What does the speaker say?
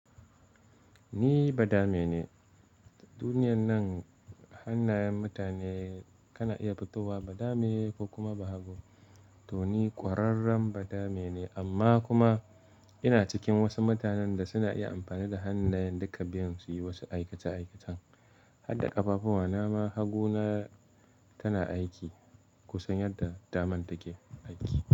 Ni ba dame ne. Duniyan nan hannayen mutane kana iya fitowa ba dame ko kuma ba hagu. To ni kwararren ba dame ne amma kuma ina cikin wasu mutanen da suna iya amfani da hannayen duka biyun su yi wasu aikace-aikacen. Hadda ƙafafu wanama hagu na tana aiki kusan yadda daman take aiki.